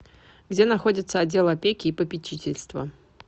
где находится отдел опеки и попечительства